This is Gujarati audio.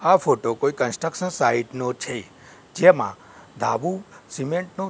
આ ફોટો કોઇ કન્સ્ટ્રક્શન સાઇટ નો છે જેમા ધાબુ સિમેન્ટ નુ--